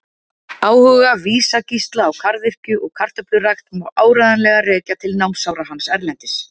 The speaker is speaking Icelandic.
Áhuga Vísa-Gísla á garðyrkju og kartöflurækt má áreiðanlega rekja til námsára hans erlendis.